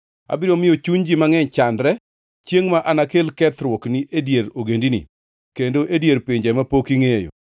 Abiro miyo chuny ji mangʼeny chandre, chiengʼ ma anakel kethruokni e dier ogendini, kendo e dier pinje mapok ingʼeyo.